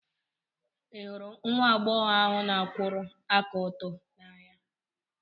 Ị hụrụ nwa agbọghọ ahụ n'akwuru aka oto n'anya?